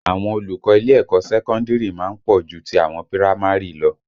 Àwọn olùkọ́ ilé ẹ̀kọ́ sẹ́kọ́ndìrì má ń pọ̀ ju ti àwọn pírámárì lọ